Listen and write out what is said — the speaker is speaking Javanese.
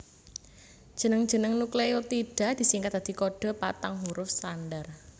Jeneng jeneng nukleotida disingkat dadi kodhe patang huruf standar